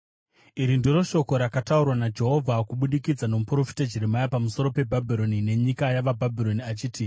Iri ndiro shoko rakataurwa naJehovha kubudikidza nomuprofita Jeremia pamusoro peBhabhironi nenyika yavaBhabhironi: